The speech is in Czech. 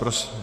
Prosím.